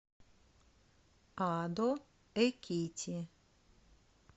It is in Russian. адо экити